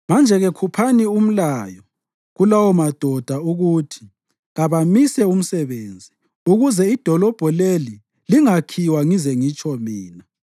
Manje-ke khuphani umlayo kulawomadoda ukuthi kabamise umsebenzi, ukuze idolobho leli lingakhiwa ngize ngitsho mina.